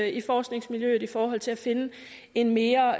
i forskningsmiljøet i forhold til at finde en mere